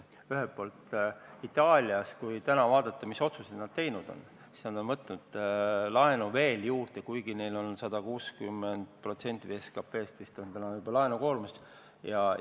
Ühelt poolt, Itaalias – kui vaadata, mis otsuseid nad teinud on – nad on võtnud laenu juurde, kuigi nende laenukoormus on täna vist juba 160% SKP-st.